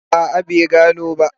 A'a bai gano ba.